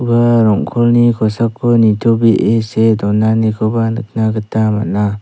ua rong·kolni kosako nitobee see donanikoba nikna gita man·a.